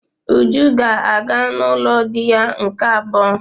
Uju ga-aga n'ulo di ya nke abuo.